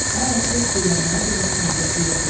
Əl açıb dilənməyə belə taqəti yox idi.